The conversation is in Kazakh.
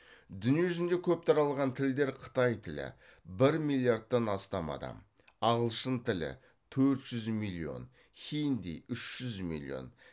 дүние жүзінде көп таралған тілдер қытай тілі ағылшын тілі хинди